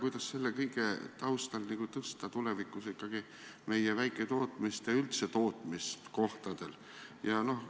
Kuidas selle kõige taustal tõsta tulevikus ikkagi meie väiketootmist ja üldse tootmist kohtadel?